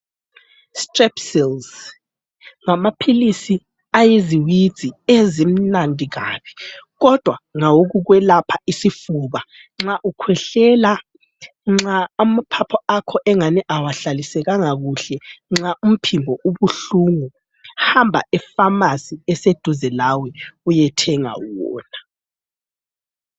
Strepsils, ngamaphilisi ayiziwidzi ezimnandi kabi, kodwa ngawokwelapha isifuba nxa ukhwehlela, nxa amaphaphu akho engani awahlalisekanga kuhle. Nxa umphimbo ubuhlungu, hamba epharmacy eseduze lawe uyethenga wona.